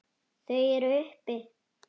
Þau eru uppi.